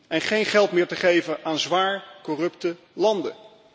en geen geld meer geven aan zwaar corrupte landen.